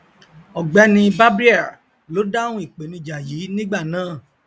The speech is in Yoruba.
ọgbẹni barbier ló dáhùn ìpèníjà yìí nígbà náà